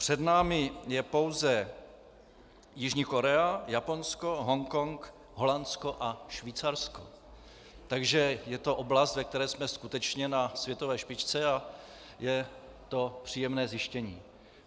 Před námi je pouze Jižní Korea, Japonsko, Hongkong, Holandsko a Švýcarsko, takže je to oblast, ve které jsme skutečně na světové špičce, a je to příjemné zjištění.